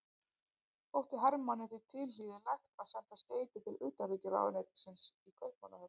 Þótti Hermanni því tilhlýðilegt að senda skeyti til utanríkisráðuneytisins í Kaupmannahöfn.